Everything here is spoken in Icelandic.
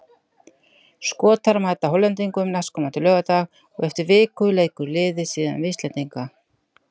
Skotar mæta Hollendingum næstkomandi laugardag og eftir viku leikur liðið síðan við Íslendinga.